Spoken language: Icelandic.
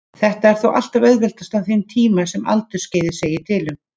Þetta er þó alltaf auðveldast á þeim tíma sem aldursskeiðið segir til um.